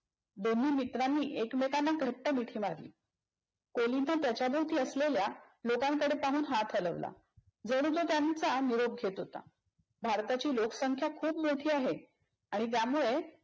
दोन्ही मित्रांनी एकमेकांना घट्ट मिठी मारली. कोलिनने त्याच्याभवति असलेल्या लोकांकडे पाहून हात हलवला. जणू तो त्यांचा निरोप घेत होता. भारताची लोकसंख्या खूप मोठी आहे. आणि त्यामुळे